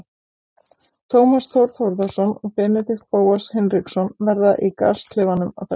Tómas Þór Þórðarson og Benedikt Bóas Hinriksson verða í gasklefanum að þessu sinni.